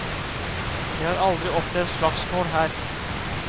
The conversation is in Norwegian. Vi har aldri opplevd slagsmål her.